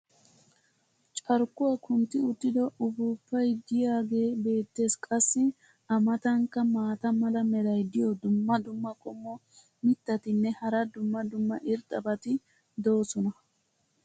carkkuwa kuntti uttido uppuuppay diyaagee beetees. qassi a matankka maata mala meray diyo dumma dumma qommo mitattinne hara dumma dumma irxxabati de'oosona.